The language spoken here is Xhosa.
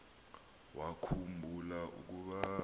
wakhu mbula ukuba